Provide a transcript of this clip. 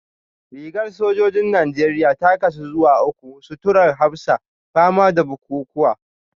Rigar sojojin Najeriya ta kasu zuwa uku; suturar hafsa, fama da bukukuwa